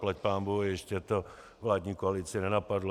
Zaplať pánbůh, ještě to vládní koalici nenapadlo.